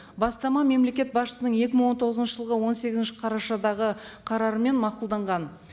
бастама мемлекет басшысының екі мың он тоғызыншы жылғы он сегізінші қарашадағы қарарымен мақұлданған